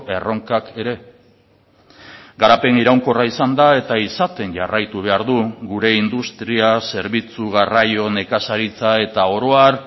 erronkak ere garapen iraunkorra izan da eta izaten jarraitu behar du gure industria zerbitzu garraio nekazaritza eta oro har